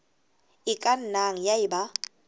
e ka nnang ya eba